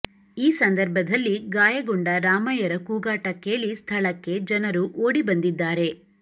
ಈ ಸಂದರ್ಭದಲ್ಲಿ ಗಾಯಗೊಂಡ ರಾಮಯ್ಯರ ಕೂಗಾಟ ಕೇಳಿ ಸ್ಥಳಕ್ಕೆ ಜನರು ಓಡಿ ಬಂದಿದ್ದಾರೆ